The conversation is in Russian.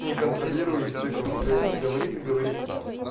не контролируй язык он говорит и говорит